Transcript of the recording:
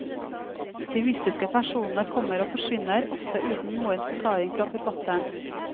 De mystiske personene kommer og forsvinner, ofte uten noen forklaring fra forfatteren.